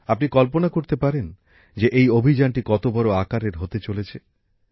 আপনি কল্পনা করতে পারেন যে এই অভিযানটি কতো বড়ো আকারের হতে চলেছে